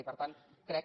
i per tant crec